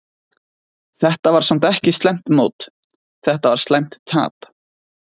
Þetta var samt ekki slæmt mót, þetta var slæmt tap.